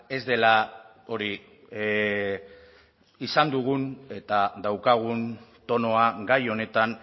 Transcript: ez dela hori izan dugun eta daukagun tonua gai honetan